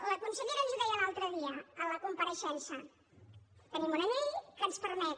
la consellera ens ho deia l’altre dia en la compareixença tenim una llei que ens permet